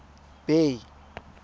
bay